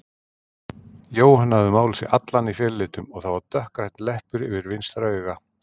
Jóhann hafði málað sig allan í felulitum og það var dökkgrænn leppur yfir vinstra auga.